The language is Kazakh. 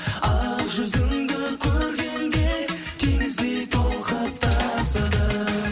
ақ жүзіңді көргенде теңіздей толқып тасыдым